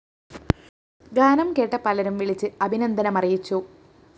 ഗാനം കേട്ട പലരും വിളിച്ച് അഭിനന്ദനമറിയിച്ചു